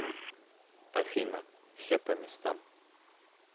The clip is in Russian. афина все по местам